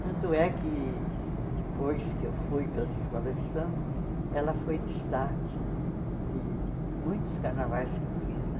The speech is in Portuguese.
Tanto é que depois que eu fui para as escolas de samba, ela foi destaque de de muitos carnavais que eu fiz né.